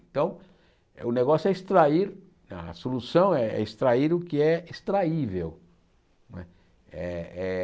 Então, o negócio é extrair, a solução é extrair o que é extraível. Não é eh eh